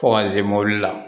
Fo ka n se mobili la